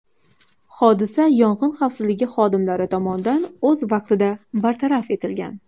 Hodisa yong‘in xavfsizligi xodimlari tomonidan o‘z vaqtida bartaraf etilgan.